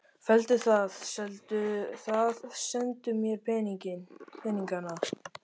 Felldu það, seldu það, sendu mér peningana.